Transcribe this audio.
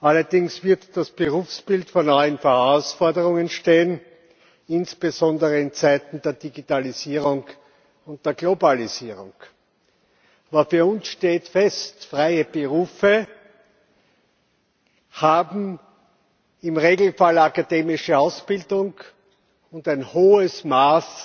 Allerdings wird das Berufsbild vor neuen Herausforderungen stehen, insbesondere in Zeiten der Digitalisierung und der Globalisierung. Aber für uns steht fest Freie Berufe haben im Regelfall akademische Ausbildung und ein hohes Maß